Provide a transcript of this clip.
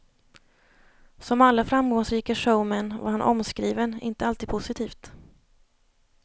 Som alla framgångsrika showmän var han omskriven, inte alltid positivt.